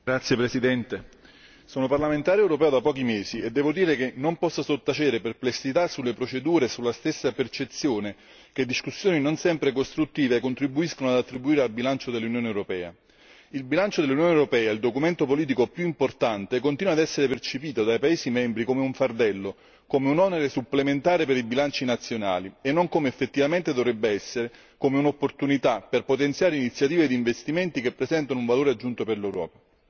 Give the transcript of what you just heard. Signora Presidente, onorevoli colleghi, sono parlamentare europeo da pochi mesi e devo dire non posso sottacere perplessità sulle procedure e sulla stessa percezione che discussioni non sempre costruttive contribuiscono ad attribuire al bilancio dell'Unione europea. Il bilancio dell'Unione europea il documento politico più importante continua a essere percepito dai paesi membri come un fardello, come un onere supplementare per i bilanci nazionali e non come effettivamente dovrebbe essere, come un'opportunità per potenziare iniziative di investimenti che presentano un valore aggiunto per l'Europa.